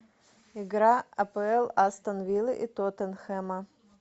игра апл астон вилла и тоттенхэма